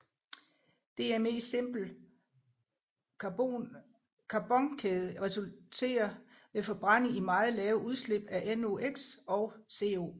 DME simple carbonkæde resulterer ved forbrænding i meget lave udslip af NOx og CO